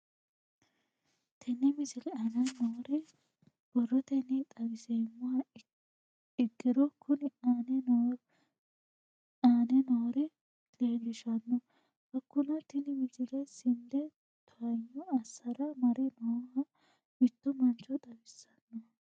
Tenne misile aana noore borrotenni xawisummoha ikirro kunni aane noore leelishano. Hakunno tinni misile sinde towaanyo asarra mare nooha mitto mancho xawissanno.